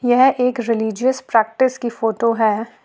यह एक religious practice की फोटो है।